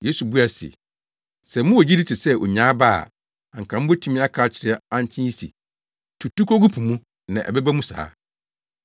Yesu buaa wɔn se, “Sɛ mowɔ gyidi te sɛ onyaa aba a, anka mubetumi aka akyerɛ ankye yi se, ‘Tutu kogu po mu,’ na ɛbɛba mu saa.